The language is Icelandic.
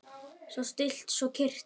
Svo stillt, svo kyrrt.